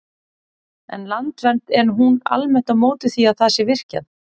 En Landvernd, er hún almennt á móti því að það sé virkjað?